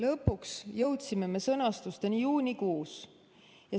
Sõnastuseni jõudsime me lõpuks juunikuus.